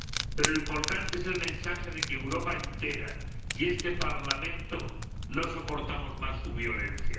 Pero lo importante es el mensaje de que Europa entera y este Parlamento no soportamos más su violencia.